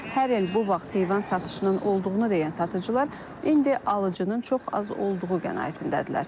Hər il bu vaxt heyvan satışının olduğunu deyən satıcılar, indi alıcının çox az olduğu qənaətindədirlər.